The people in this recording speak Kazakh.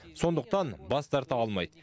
сондықтан бас тарта алмайды